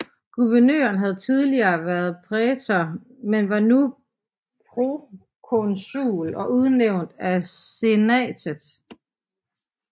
Guvernøren havde tidligere været prætor men var nu prokonsul og udnævnt af senatet